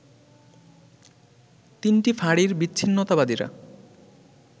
তিনটি ফাঁড়ির বিচ্ছিন্নতাবাদীরা